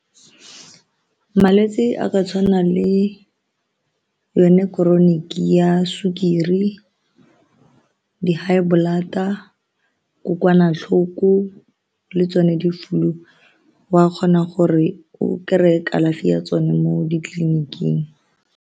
Malwetse a ka tshwana le yone chronic ya sukiri, di-high blood-a, kokwanatlhoko le tsone di-flu wa kgona gore o kry-e kalafi ya tsone mo ditleliniking.